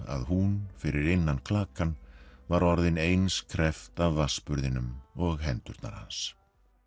að hún fyrir innan klakann var orðin eins kreppt af og hendurnar hans